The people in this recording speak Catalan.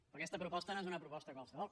però aquesta proposta no és una proposta qualsevol